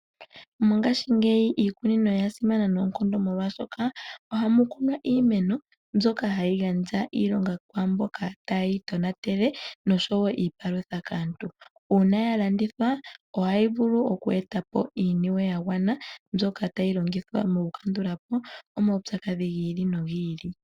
Mongashingeyi iikunino oya simana noonkondo molwaashoka ohamu kunwa iimeno mbyoka hayi gandja iilonga kwaamboka tayeyi tonatele noshowoo iipalutha kaantu. Uuna yalandithwa ohayi vulu okwetapo iiniwe yagwana mbyoka tayi longithwa mokukandulapo omaupyakadhi gi ili nogi ili.